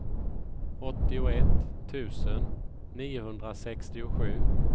åttioett tusen niohundrasextiosju